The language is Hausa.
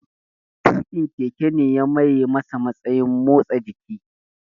Tuƙin keke ne ya maye masa matsayin motsa jiki